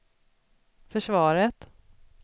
försvaret